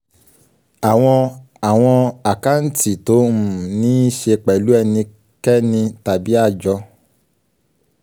àwọn àwọn àkáǹtì tó um ní í ṣe pẹ̀lú ẹnikẹ́ni tàbí àjọ.